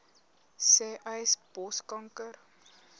sê uys borskanker